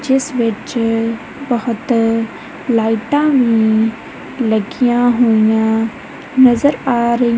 ਜਿਸ ਵਿੱਚ ਬਹੁਤ ਲਾਈਟਾਂ ਵੀ ਲੱਗੀਆਂ ਹੋਈਆਂ ਨਜ਼ਰ ਆ ਰਹੀ--